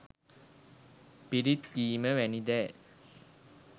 පිරිත් කීම වැනි දෑ